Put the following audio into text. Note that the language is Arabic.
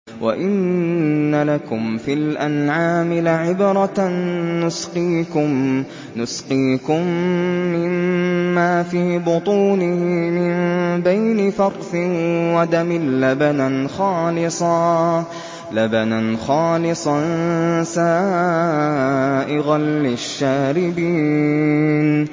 وَإِنَّ لَكُمْ فِي الْأَنْعَامِ لَعِبْرَةً ۖ نُّسْقِيكُم مِّمَّا فِي بُطُونِهِ مِن بَيْنِ فَرْثٍ وَدَمٍ لَّبَنًا خَالِصًا سَائِغًا لِّلشَّارِبِينَ